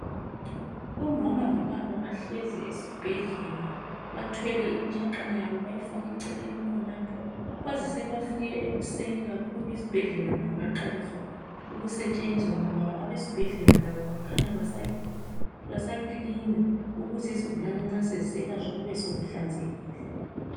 Umama lobaba bahlezi esibhedlela bathwele imitshaqana yabo bayifake eceleni khonapho kwazi sebefike ekuseni kakhulu isibhedlela kungaqaliswa ukusetshenzwa ngoba abesibhedlela Labo kukhanya basa basakilina ukuze izigulane ma seziselatshwa kube sekuhlanzekile